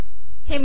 हे पहा